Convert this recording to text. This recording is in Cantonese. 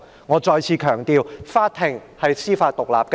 我再次強調，法庭是司法獨立的。